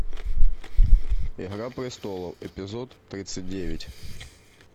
игра престолов эпизод тридцать девять